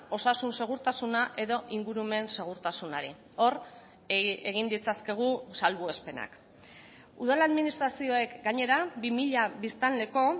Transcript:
osasun segurtasuna edo ingurumen segurtasunari hor egin ditzakegu salbuespenak udal administrazioek gainera bi mila biztanleko